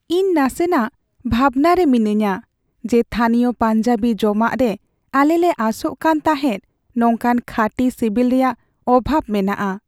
ᱤᱧ ᱱᱟᱥᱮᱱᱟᱥ ᱵᱷᱟᱵᱽᱱᱟᱧ ᱨᱮ ᱢᱤᱱᱟᱹᱧᱟ ᱡᱮ ᱛᱷᱟᱱᱤᱭᱚ ᱯᱟᱧᱡᱟᱵᱤ ᱡᱚᱢᱟᱜ ᱨᱮ ᱟᱞᱮᱞᱮ ᱟᱥᱚᱜ ᱠᱟᱱ ᱛᱟᱦᱮᱸᱫ ᱱᱚᱝᱠᱟᱱ ᱠᱷᱟᱹᱴᱤ ᱥᱤᱵᱤᱞ ᱨᱮᱭᱟᱜ ᱚᱵᱷᱟᱵᱽ ᱢᱮᱱᱟᱜᱼᱟ ᱾